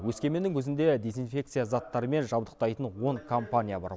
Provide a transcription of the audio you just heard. өскеменнің өзінде дезинфекция заттарымен жабдықтайтын он компания бар